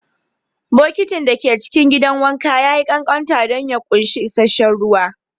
Bokitin da ke cikin gidan wanka ya yi ƙanƙanta don ya ƙunshi isasshen ruwa